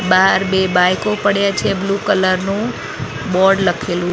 બાર બે બાઈકો પડ્યા છે બ્લુ કલર નું બોર્ડ લખેલુ --"